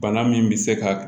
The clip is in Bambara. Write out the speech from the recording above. Bana min bɛ se ka